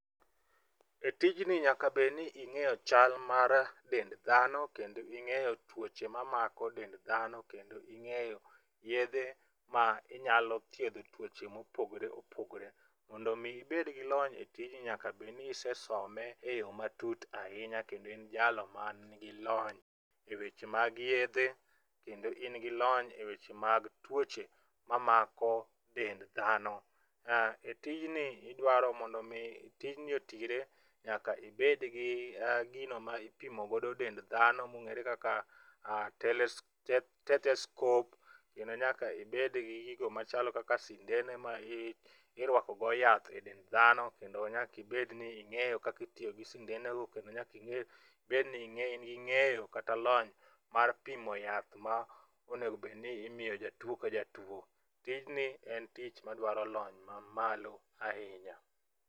E tijni nyaka bed ni ing'eyo chal mar dend dhano, kendo ing'eyo tuoche mamako dend dhano kendo ing'eyo yedhe ma inyalo thiedho tuoche mopogore opogore, mondo omi ibed gi lony e tijni, nyaka bed ni ise some e yo matut ahinya kendo in jalony manigi lony e weche mag yedhe. Kendo in gi lony e weche mag tuoche mamako dend dhano. Tijni idwaro mondo omi, tijni otire, nyaka ibed gi gino ma ipimo godo dend dhano mong'ere kaka tethescope. Kendo nyaka ibed gi gigo machalo kaka sindene ma irwakogo yath e dend dhano, kendo nyaka ibed ni ing'eyo kaka itiyo gi sindenego. Kendo nyaka ibed ni ng'eyo ,in gi ng'eyo kata lony mar pimo yath ma onego bedni imiyo jatuwo ka jatuwo. Tijni en tich madwaro lony mamalo ahinya.